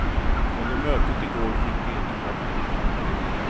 Under mötet i går fick de inte komma in.